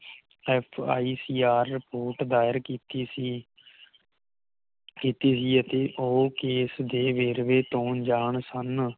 FICR Report ਦਾਇਰ ਕੀਤੀ ਸੀ ਕੀਤੀ ਸੀ ਅਤੇ ਉਹ ਕੇਸ ਦੇ ਵੇਰਵੇ ਤੋਂ ਅਣਜਾਣ ਸਨ